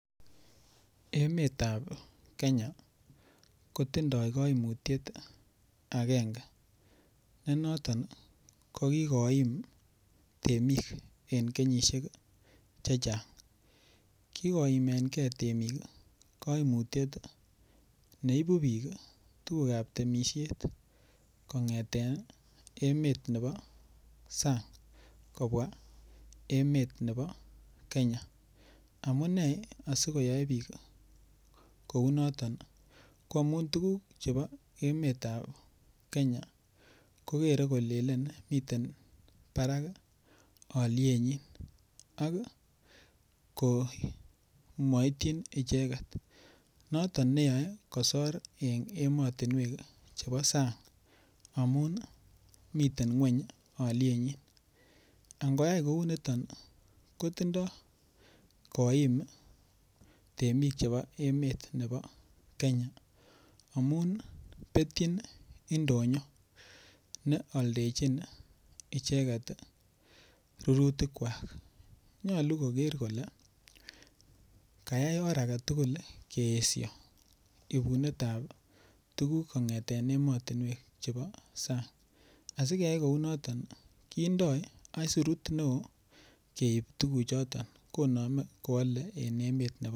Emetab Kenya kotindoi kaimutiet akenge ne noton ii ko kikoim temik en kenyisiek che chang, kikoimenkei temik kaimutiet ne ibu piik ii tukukab temisiet kongeten ii emet nebo sang kobwa emet nebo Kenya, amune asikoyoei piik ii kounoton ii ko amun tukuk chebo emetab Kenya kokere kolelen miten barak ii alyenyin ak komoityin icheket, noton neyoe kosor eng emotinwek ii chebo sang, amun ii miten nguny ii alyenyi, ak ngoyai kouniton kotindoi koim ii temik chebo emet nebo Kenya amun ii betyin indonyo ne aldechin icheket rurutikwak, nyalu koker kole kayai or ake tugul ii keesio ibunetab tukuk kongeten emotinwek chebo sang, asikeyai kounoton ii kendoi aisurut ne oo keip tukuchoton konome koale en emet nebo .....